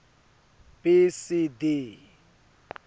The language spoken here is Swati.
b c d